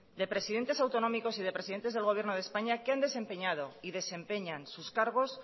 de presidentes autonómicos y de presidentes del gobierno de españa que han desempeñado y desempeñan sus cargos